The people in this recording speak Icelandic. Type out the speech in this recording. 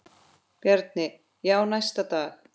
Bjarni: Já, næsta dag.